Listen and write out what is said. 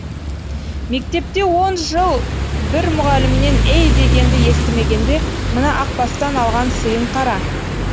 мектепте он жыл бір мұғалімнен ей дегенді естімегенде мына ақ бастан алған сыйын қара